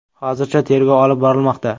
Hozircha tergov olib borilmoqda.